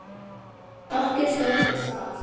Sé nokkuð stóran sal.